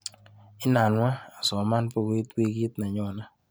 Inanwa asoman bukuit wikit nenyone.